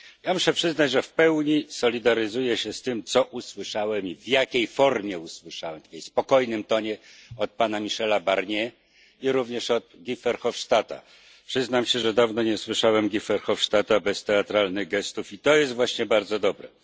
Muszę przyznać, że w pełni solidaryzuję się z tym, co usłyszałem i w jakiej formie usłyszałem powiedziane tym spokojnym tonem od pana Michela Barnier, i również od Guy Verhofstadta. Przyznam się, że dawno nie słyszałem Guy Verhofstadta bez teatralnych gestów, i to jest właśnie bardzo dobre.